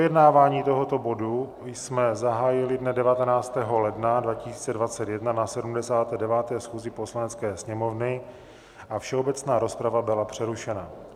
Projednávání tohoto bodu jsme zahájili dne 19. ledna 2021 na 79. schůzi Poslanecké sněmovny a všeobecná rozprava byla přerušena.